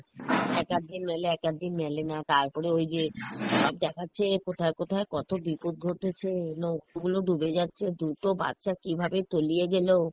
এক আদ দিন এক আদ দিন মেলে না, তারপরে ওইযে সব দেখাচ্ছে কোথায় কোথায় কত বিপদ ঘোটেছে, নৌকো গুলো ডুবে যাচ্ছে দুটো বাচ্চা কীভাবে তলিয়ে গেলো,